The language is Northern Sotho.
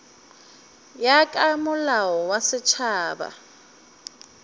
ya ka molao wa setšhaba